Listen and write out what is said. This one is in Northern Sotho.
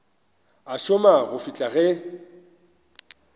a šoma go fihla ge